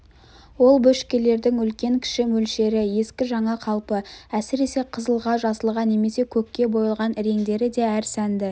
ол бөшкелердің үлкен-кіші мөлшері ескі жаңа қалпы әсіресе қызылға жасылға немесе көкке боялған іреңдері де әр сәнді